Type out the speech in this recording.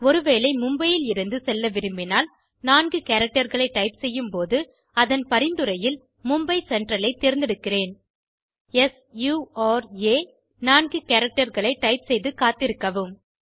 ஒருவேளை Mumbaiயிலிருந்து செல்ல விரும்பினால் 4 characterகளை டைப் செய்யும்போது அதன் பரிந்துரையில் மும்பை சென்ட்ரல் ஐ தேர்ந்தெடுக்கிறேன்SURA 4 characterகளை டைப் செய்துகாத்திருக்கவும்